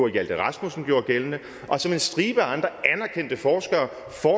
hjalte rasmussen gjorde gældende og som en stribe andre anerkendte forskere